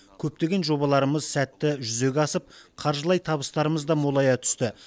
көптеген жобаларымыз сәтті жүзеге асып қаржылай табыстарымыз да молая түсті